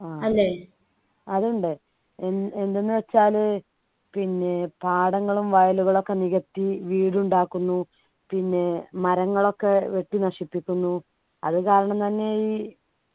ആഹ് അതുണ്ട് എൻ എന്തെന്ന് വെച്ചാൽ പിന്നെ പാഠങ്ങളും വയലുകളും ഒക്കെ നികത്തി വീട് ഉണ്ടാക്കുന്നു പിന്നെ മരങ്ങളൊക്കെ വെട്ടി നശിപ്പിക്കുന്നു അതുകാരണം തന്നെ ഈ